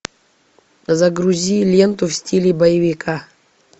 загрузи ленту в стиле боевика